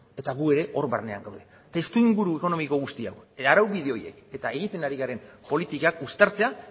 eta gu ere hor barnean gaude testuinguru ekonomiko guzti hau araubide horiek eta egiten ari garen politikak uztartzea